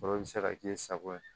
Foro bɛ se ka k'i sago ye